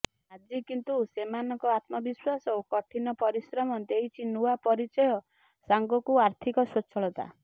ଆଜି କିନ୍ତୁ ସେମାନଙ୍କ ଆତ୍ମବିଶ୍ୱାସ ଓ କଠିନ ପରିଶ୍ରମ ଦେଇଛି ନୂଆ ପରିଚୟ ସାଙ୍ଗକୁ ଆର୍ଥିକ ସ୍ୱଚ୍ଛଳତା